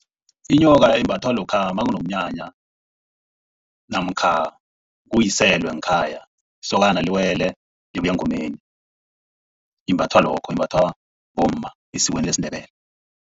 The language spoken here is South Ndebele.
Inyoka imbathwa lokha nakunomnyanya namkha kuwiselwe ngekhaya, isokana liwele libuya engomeni. Imbathwa lokho, imbathwa bomma esikweni lesiNdebele.